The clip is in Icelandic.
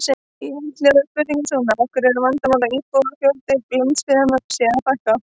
Í heild hljóðaði spurningin svona: Af hverju er vandamál að íbúafjölda landsbyggðarinnar sé að fækka?